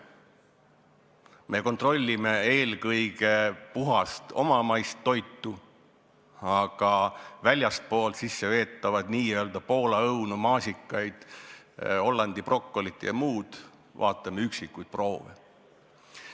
Me kontrollime eelkõige puhast omamaist toitu, aga väljastpoolt sisse veetavate Poola õunte, maasikate, Hollandi brokoli jms puhul vaatame üksikuid proove.